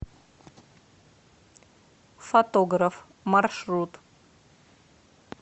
фотограф маршрут